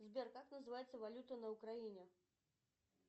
сбер как называется валюта на украине